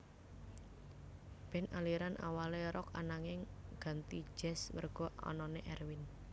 Band aliran awalé Rock ananging ganti jazz merga anané Erwin